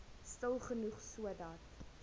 stil genoeg sodat